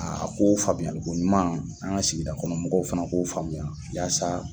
Aa ko faamuyali ko ɲuman an ka sigi kɔnɔmɔgɔw fana k'o faamuya yaasa